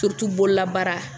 bololabaara